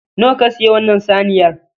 Nawa ka siyi wannan saniyar?